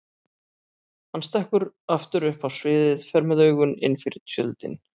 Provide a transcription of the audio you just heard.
Hann stekkur aftur upp á sviðið, fer með augun innfyrir tjöldin.